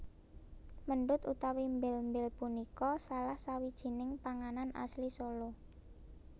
Méndut utawi mbél mbél punika salah sawijining panganan asli Solo